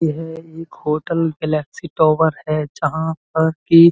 यह एक hotel Flexi tower है जहाँ पर कि --